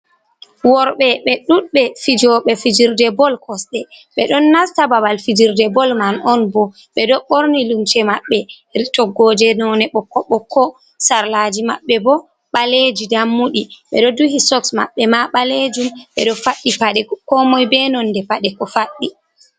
Worɓe ɓe ɗuɗde fijoɓe fijirde bol kosde, ɓe don nasta babal fijirde bol man on bo ɓe do borni lumce maɓɓe rtoggoje none boko bokko sarlaji maɓɓe bo ɓaleji dammudi ɓe do duhi soks maɓɓe ma ɓalejum ɓe do faddi pade ko moy be nonde pade ko faɗdi.